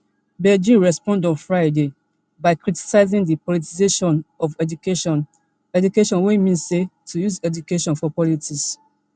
beijing respond on friday by criticising di politicisation of education education wey mean say to use education for politics